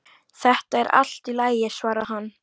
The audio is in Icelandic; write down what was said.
Þetta er allt í lagi, svarar hann.